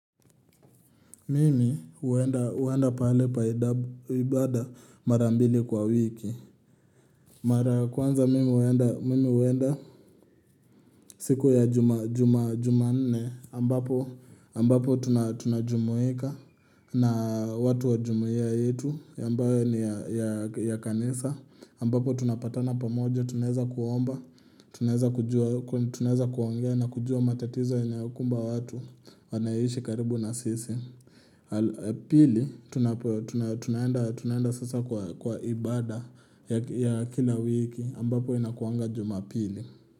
Mimi huenda pahali pa ibada mara mbili kwa wiki. Mara ya kwanza mimi huenda siku ya jumanne ambapo ambapo tunajumuika na watu wajumuia yetu ambayo ni ya kanisa ambapo tunapatana pamoja tunaeza kuomba tunaeza kujua tunaweza kuongea na kujua matatizo inayokumba watu wanayeishi karibu na sisi. Pili, tunaenda sasa kwa ibada ya kila wiki ambapo inakuanga jumapili.